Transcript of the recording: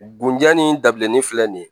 Bonja ni dabilennin filɛ nin ye